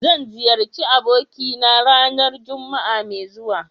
Zan ziyarci abokina ranar Juma'a mai zuwa.